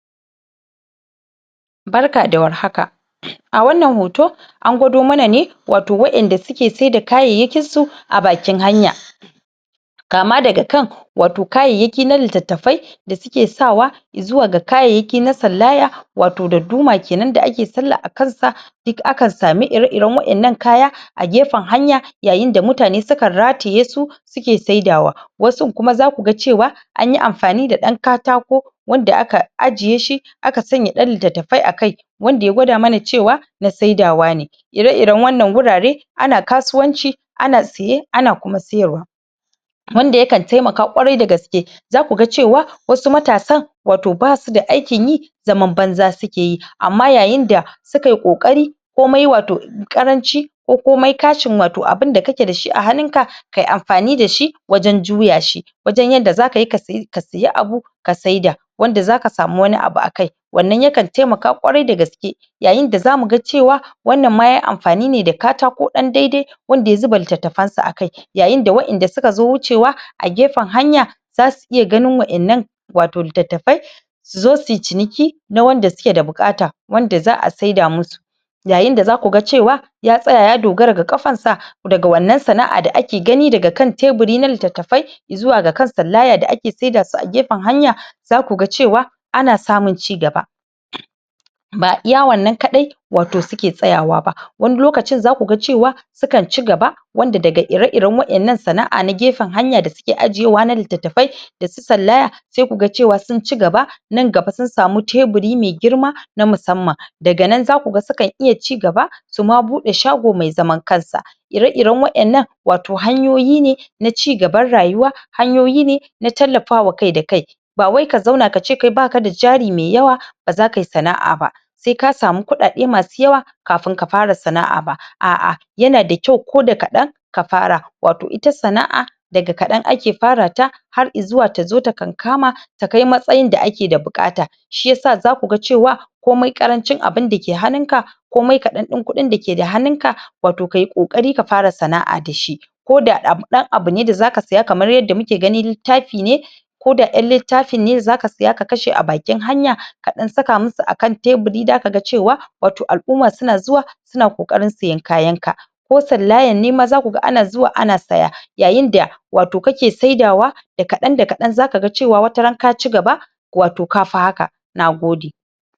Barka da warhaka a wannan hoto an gwado mana ne watau wa'inda suke saida kayayyakin su a bakin hanya kama daga kan watau kayayyaki na litattafai da suke sa wa i zuwa ga kayayyaki na sallaya watau darduma kenanda ake sallah a kansa duk akan samu ire-iren wa'innan kaya a gefen hanya yayin da mutane sukan rataye su suke saida wa. Wasun kuma zaku ga cewa anyi amfani da ɗan katako wanda aka ajiye shi aka sanya ɗan litattafai a kai wanda ya gwada mana cewa na saidawa ne ire-iren wannan wurare ana kasuwanci ana siye ana kuma sayarwa wanda yakan taimaka ƙwarai da gaske zaku ga cewa wasu matasan watau basu da aikin yi zaman banza suke yi amma yayin da suka yi ƙoƙari komai wata ƙaranci ko komaimkashin abunda kake da shi a hannun ka kayi amfani da shi wajen juya shi wajen yadda zaka yi ka siya abu ka saida wanda zaka samuwani abu a kai. wannan yakan taimaka ƙwarai da gaske yayin da zamu ga cewa wannan ma yayi amfani ne da katako ɗan daidai wanda ya zauna litattafansa a kai yayin da wa'inda suka zo wucewa a gefen hanya zasu iya ganin wa; innan watau litattafai su zo suyi ciniki na wanda suke da buƙata wanda za a saida musu yayin da zaku ga cewa ya tsaya ya dogara ga ƙafansa daga wannan sana'a da ake gani daga kan teburi na litattafai i zuwa ga kan sallaya d ake saida su a gefen hanya zaku ga cewa ana samun cigaba ba iya wannan kaɗai watau suke tsayawa ba wani lokacin zaku ga cewa sukan cigabz wanda daga ire-iren wannan sana'a na gefen hanya da suke ajiyewa na litattafaida su sallaya sai kuga cewa sun cigaba nan gaba sun samu teburi mai girma na musamman daga nan zaku ga sukan iya cigaba suma buɗe shago mai zaman kansa ire-ire wa'innan watau hanyoyi ne na cigaban rayuwa hanyoyi ne na tallafa wa kai da kai ba wai ka zauna ka ce kai ba ka da jari mai yawa ba za kayi sana'a ba sai ka samu kuɗaɗe masu yawa kafin ka fara sana'a ba a'a yana da kyau ko da kaɗan ka fara watau ita sana'a daga kaɗan ake fara ta har i zuwa ta zo ta kankama ta kai matsayin da ake da buƙata shiyasa zaku ga cewa komai ƙarancin abunda ke hannun ka komai kaɗan ɗin kuɗin da ke da hannunka watau kayi ƙoƙari ka fara sana'a da shi ko da ɗan abu ne da zaka siya kamar yadda muke gani littafi ne ko da ɗan littafin ne ka siya ka kashe a bakin hanya ka ɗan saka musu a kan teburi zaka ga cewa watai al'umma zuna zuwa suna ƙoƙarin siyan kayan ka ko sallayan ne ma zaku ga ana zuwa ana saya yayin da watau kake saidawa da kaɗan da kaɗan zaka ga cewa wataran ka cigaba watau ka fi haka. Nagode.